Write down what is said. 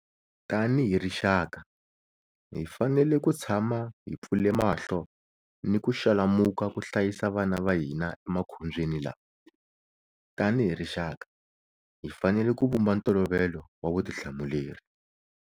Tanihi rixaka, hi fanele ku tshama hi pfule mahlo ni ku xalamuka ku hlayisa vana va hina emakhombyeni lawa. Tanihi rixaka, hi fanele ku vumba ntolovelo wa vutihlamuleri.